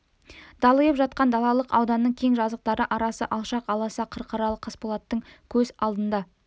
далиып жатқан далалық ауданның кең жазықтары арасы алшақ аласа қырқалары қасболаттың көз алдында